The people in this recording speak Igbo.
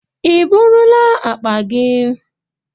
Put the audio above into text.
Ị eburula akpa gị?